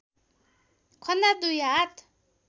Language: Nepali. खन्दा दुई हात